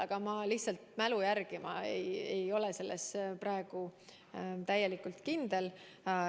Aga ma lihtsalt mälu järgi ütlen, ma ei ole selles praegu täielikult kindel.